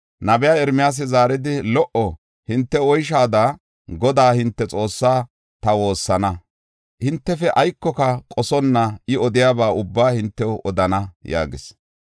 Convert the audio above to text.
Nabey Ermiyaasi zaaridi, “Lo77o; hinte oyshaada, Godaa hinte Xoossaa ta woossana; hintefe aykoka qosonna I odiyaba ubbaa hintew odana” yaagis.